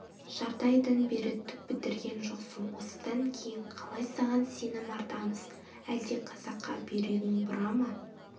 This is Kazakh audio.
жарты айдан бері түк бітірген жоқсың осыдан кейін қалай саған сенім артамыз әлде қазаққа бүйрегің бұра ма